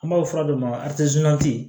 An b'a fɔ fura dɔ ma